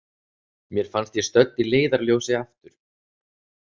Mér fannst ég stödd í Leiðarljósi, aftur.